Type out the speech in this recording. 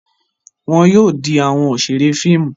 Wọn yóò di awọn oṣere fíìmù